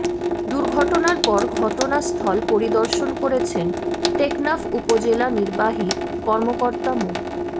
দুর্ঘটনার পর ঘটনাস্থল পরিদর্শন করেছেন টেকনাফ উপজেলা নির্বাহী কর্মকর্তা মো